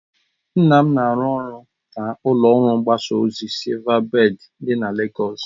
Nne m na-arụ ọrụ na ụlọ ọrụ mgbasa ozi SilvaBèd dị na Legọs